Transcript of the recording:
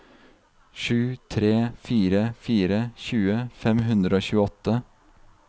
sju tre fire fire tjue fem hundre og tjueåtte